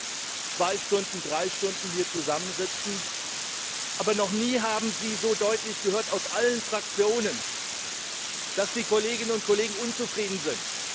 Wir werden zwei bis drei Stunden hier zusammensitzen, aber noch nie haben Sie so deutlich aus allen Fraktionen gehört, dass die Kolleginnen und Kollegen unzufrieden sind.